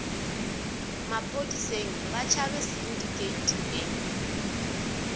maphodiseng ba tšhabe sindikheiti e